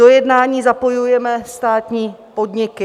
Do jednání zapojujeme státní podniky.